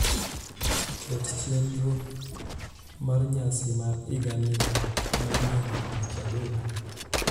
ket chenro mar nyasi mar higa manyien tich adek